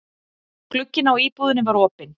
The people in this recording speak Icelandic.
Glugginn á íbúðinni var opinn.